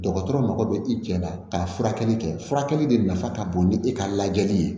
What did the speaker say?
Dɔgɔtɔrɔ mago bɛ i cɛ la ka furakɛli kɛ furakɛli de nafa ka bon ni e ka lajɛli ye